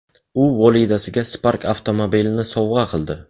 U volidasiga Spark avtomobilini sovg‘a qildi.